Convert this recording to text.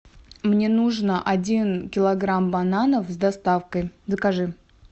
мне нужно один килограмм бананов с доставкой закажи